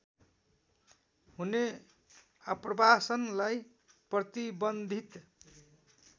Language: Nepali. हुने आप्रवासनलाई प्रतिबन्धित